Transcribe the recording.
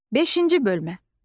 Beşinci bölmə.